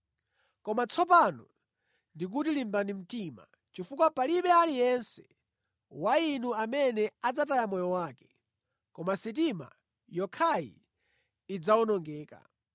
Koma tsopano ndikuti limbani mtima, chifukwa palibe aliyense wa inu amene adzataya moyo wake; koma sitima yokhayi idzawonongeka.